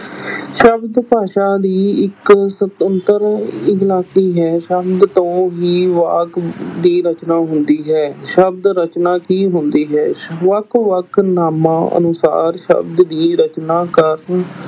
ਸ਼ਬਦ ਭਾਸ਼ਾ ਦੀ ਇੱਕ ਸੁਤੰਤਰ ਇਕਲਾਕੀ ਹੈ ਸ਼ਬਦ ਤੋਂ ਹੀ ਵਾਕ ਦੀ ਰਚਨਾ ਹੁੰਦੀ ਹੈ ਸ਼ਬਦ ਰਚਨਾ ਕੀ ਹੁੰਦੀ ਹੈ, ਵੱਖ ਵੱਖ ਨਾਮਾਂ ਅਨੁਸਾਰ ਸ਼ਬਦ ਦੀ ਰਚਨਾ ਕਰਨ